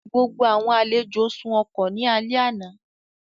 Gbogbo àwọn àlejò sùn ọkọ̀ ní alẹ́ àná